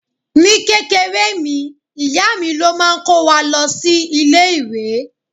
Ní kékeré mi, ìyá mi ló máa ń kó wa lọ sí ilé-ìwé.